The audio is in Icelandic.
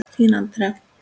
Þín, Andrea.